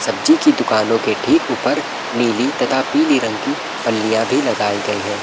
सब्जी की दुकानों के ठीक ऊपर नीली तथा पीली रंग की पल्लिया भी लगाई गई है ।